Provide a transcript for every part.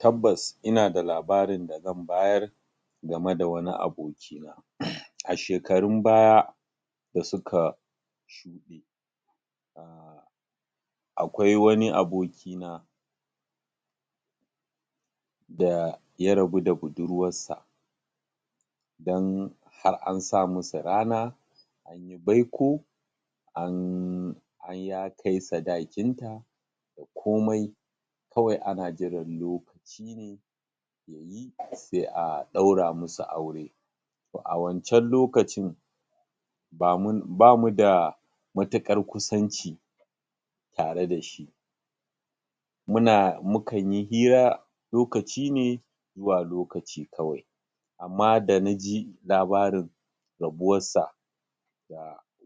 Tabbas ina da labarin da zan bayar game da wani abokina. A shekarun baya da suka shuɗe um akwai wani abokina da ya rabu da budurwarsa don har an sa musu rana; an yi baiko; an, ya kai sadakinta da komai kawai ana jiran lokaci ne ya yi sai a ɗaura musu aure To a wancan lokacin ba mun, ba mu da matuƙar kusanci tare da shi muna, mukan yi iya lokaci ne zuwa lokaci kawai, amma da na ji labarin rabuwarsa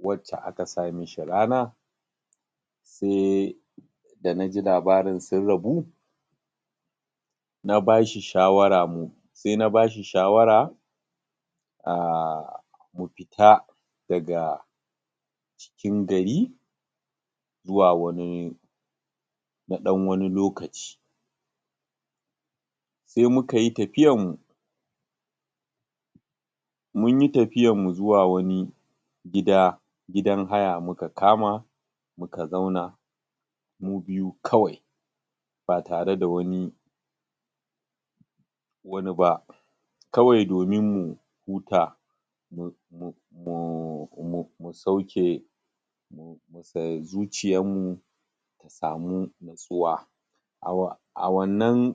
wacce aka sa mishi rana, sai da na ji labarin sun rabu na ba shi shawara, sai na ba shi shawara um mu fita daga cikin gari zuwa wani na ɗan wani lokaci Sai muka yi tafiyanmu Mun yi tafiyanmu zuwa wani gida, gidan haya muka kama, muka zauna mu biyu kawai ba tare da wnani wani ba, kawai domin mu huta, mu mu mu mu mu sauke zuciyanmu mu samu nutsuwa. A wannan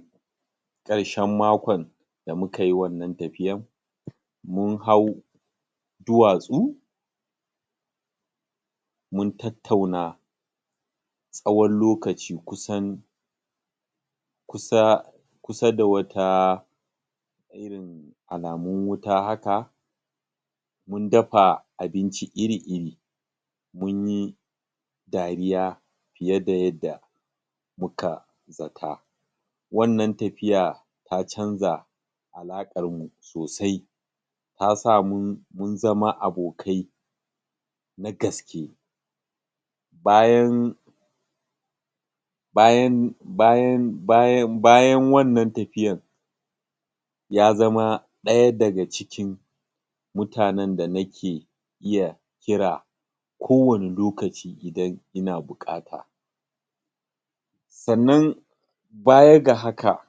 ƙarshen makon da muka yi wannan tafiyan, mun hau duwatsu mun tattauna tsawon lokaci kusan kusa kusa da wata irin alamun wuta haka. Mun dafa abinci iri-iri; mun yi dariya fiye da yadda muka zata. Wannan tafiya ta canja alaƙarmu sosai. ta sa mun zama abokai na gaske. Bayan bayan bayan bayan bayan wannan tafiyan ya zama ɗaya daga cikin mutanen da nake kira kowane lokaci idan ina bukata. Sannan baya ga haka,